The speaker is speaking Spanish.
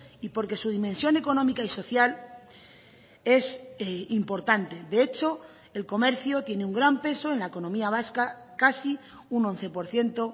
y porque su dimensión económica y social es importante de hecho el comercio tiene un gran peso en la economía vasca casi un once por ciento